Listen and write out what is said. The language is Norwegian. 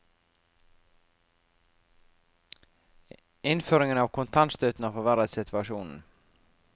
Innføringen av kontantstøtten har forverret situasjonen.